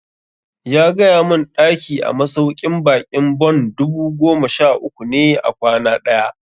Ya gaya mun ɗaki a masauƙin baƙin Bon dubu goma sha uku ne a kwana ɗaya